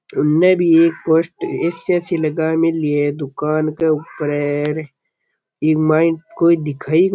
उनने भी एक पोस्ट ए_सी ए_सी लगा मेली है दुकान के उपरे इ मायने कोई दिखे ही को --